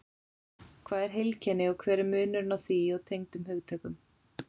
Hvað er heilkenni og hver er munurinn á því og tengdum hugtökum?